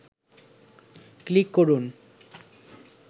click করুন